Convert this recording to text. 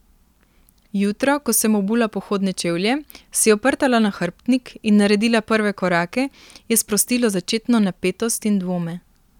Jutro, ko sem obula pohodne čevlje, si oprtala nahrbtnik in naredila prve korake, je sprostilo začetno napetost in dvome.